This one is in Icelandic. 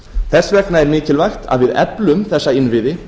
þess vegna er mikilvægt að við eflum þessa innviði